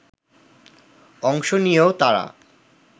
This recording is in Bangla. অংশ নিয়েও তারা